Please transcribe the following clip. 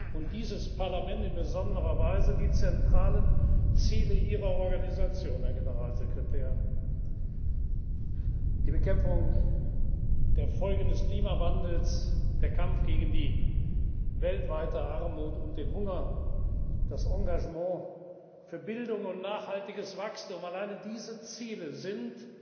und dieses Parlament in besonderer Weise teilt die zentralen Ziele Ihrer Organisation, Herr Generalsekretär die Bekämpfung der Folgen des Klimawandels, der Kampf gegen die weltweite Armut und den Hunger, das Engagement für Bildung und nachhaltiges Wachtsum. Allein diese Ziele